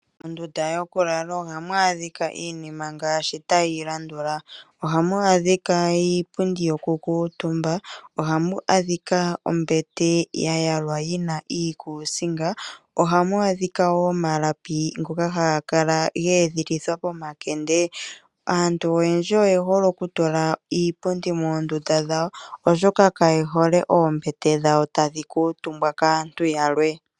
Mondunda yokulala ohamu adhika iinima ngaashi tayi landula ohamu adhika iipundi yokukutumba, ombete ya yalwa yi na iikuusinga noshowo omalapi ngoka haga kala geedhilithwa pomakende. Aantu oyendji oye hole okutula iipundi moondunda dhawo oshoka kaye hole oombete dhawo tadhi kuutumbwa kaantu yalwe.